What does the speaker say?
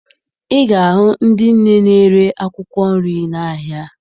Ị ga-ahụ ndị nne na-ere akwụkwọ nri n'ahịa